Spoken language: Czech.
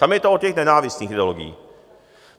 Tam je to o těch nenávistných ideologiích.